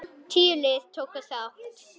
Tíu lið tóku þátt.